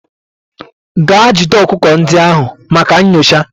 Gaa jide ọkụkọ ndị ahụ maka nyocha!.